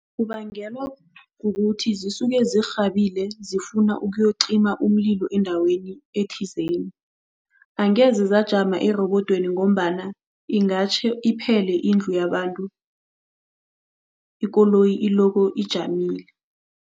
Kubangelwa kukuthi zisuke zirhabile zifuna ukuyocima umlilo endaweni ethizeni. Angeze ziyajama erobodweni ngombana ingatjha beyiphele indlu yabantu, ikoloyi iloko ijamile.